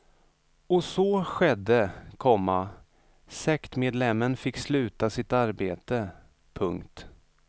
Och så skedde, komma sektmedlemmen fick sluta sitt arbete. punkt